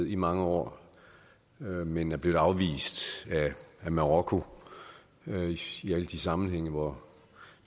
i mange år men er blevet afvist af marokko i alle de sammenhænge hvor